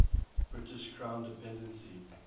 british crown dependency